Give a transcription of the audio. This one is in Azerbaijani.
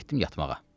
Getdim yatmağa.